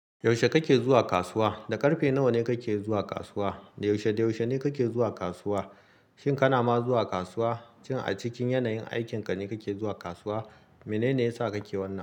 Yaushe kake zuwa kasuwa? Da ƙarfe nawa ne kake zuwa kasuwa? Da yaushe, da yaushe ne kake zuwa kasuwa? Shin kana ma zuwa kasuwa? Shin a cikin yanayin aikin ka ne kake zuwa kasuwa? Mene ne yasa kake wannan?